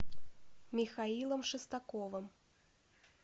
михаилом шестаковым